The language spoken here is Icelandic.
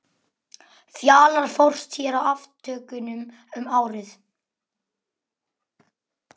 Fjalar fórst hér í aftökunum um árið.